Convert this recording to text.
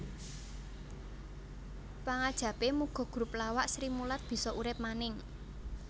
Pangajapé muga grup lawak Srimulat bisa urip maning